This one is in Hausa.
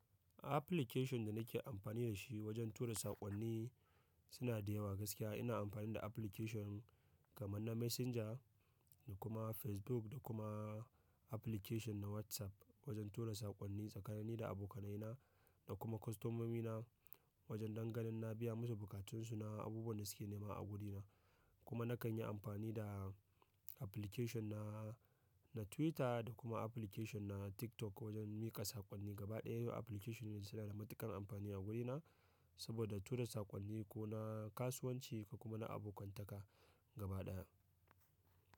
Application da nake amfani da shi wajen tura saƙonni suna da yawa gaskiya. Ina amfani da application kamar na Messenger da kuma Facebook da kuma application na WhatsApp wajen tura saƙonni tsakanini da abokanaina da kuma kostomomina wajen dangane na biya musu bukatun su na abubuwan da suke nema a wurina. Kuma nakan yi amfani da application na, na Twitter da kuma application na TikTok wajen mika saƙonni gaba ɗaya. Yo application ne suna da matuƙar amfani a wurina saboda tura saƙonni ko na kasuwanci ko kuma na abokantaka gaba ɗaya.